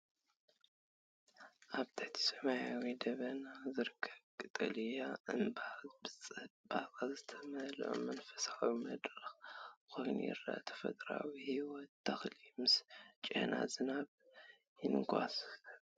ኣብ ትሕቲ ሰማያዊ ደበናታት ዝርከብ ቀጠልያ እምባ ብጽባቐ ዝተመልአ መንፈሳዊ መድረኽ ኮይኑ ይረአ፤ ተፈጥሮኣዊ ህይወት ተኽሊ ምስ ጨና ዝናብ ይንሳፈፍ።